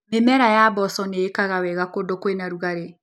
Mĩmera ya mboco nĩikaga wega kũndũ kwĩna rugarĩ.